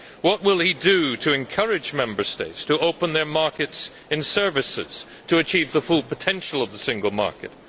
What will he do to encourage Member States to open their markets in services in order to achieve the full potential of the single market?